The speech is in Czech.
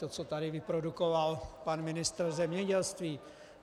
To, co tady vyprodukoval pan ministr zemědělství.